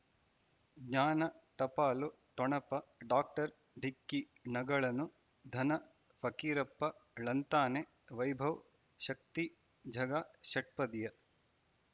ಜ್ಞಾನ ಟಪಾಲು ಠೊಣಪ ಡಾಕ್ಟರ್ ಢಿಕ್ಕಿ ಣಗಳನು ಧನ ಫಕೀರಪ್ಪ ಳಂತಾನೆ ವೈಭವ್ ಶಕ್ತಿ ಝಗಾ ಷಟ್ಪದಿಯ